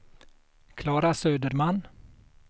Klara Söderman